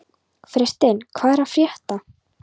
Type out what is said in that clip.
Freysteinn, hvað er að frétta?